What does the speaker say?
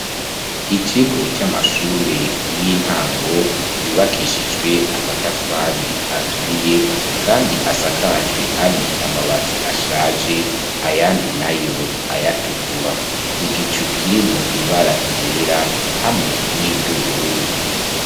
Ikigo c'amashure y'intango, yubakishijwe amatafari aturiye, kandi asakajwe amwe amabati ashaje, ayandi nayo ayatukura; igicu kirimwo ibara ryera, hamwe n'iry'ubururu.